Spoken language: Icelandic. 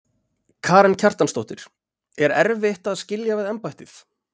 Karen Kjartansdóttir: Er erfitt að skilja við embættið?